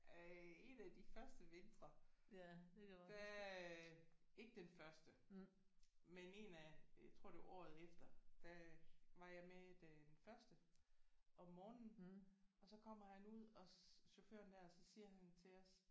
Øh en af de første vintre der øh ikke den første men en af jeg tror det var året efter der var jeg med den første om morgenen og så kommer han ud og chaufføren der og så siger han til os